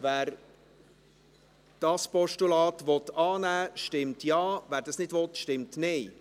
Wer dieses Postulat annehmen will, stimmt Ja, wer dies nicht will, stimmt Nein.